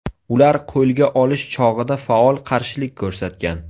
Ular qo‘lga olish chog‘ida faol qarshilik ko‘rsatgan.